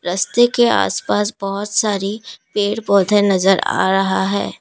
रस्ते के आसपास बहोत सारी पेड़ पौधे नजर आ रहा है।